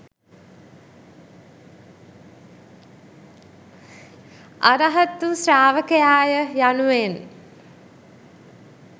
අරහත් වූ ශ්‍රාවකයා ය යනුවෙන්